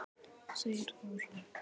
segir Þórunn.